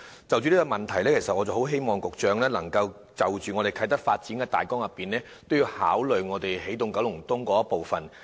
就這個問題，希望局長能就啟德的發展大綱，一併考慮起動九龍東的部分。